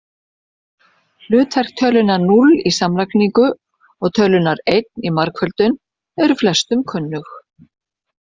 Hlutverk tölunnar núll í samlagningu og tölunnar einn í margföldun eru flestum kunnug.